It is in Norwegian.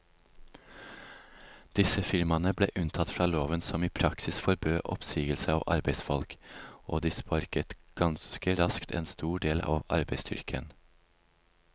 Disse firmaene ble unntatt fra loven som i praksis forbød oppsigelse av arbeidsfolk, og de sparket ganske raskt en stor del av arbeidsstyrken.